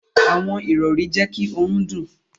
Àwọn irọri jé kí òrùn dùn.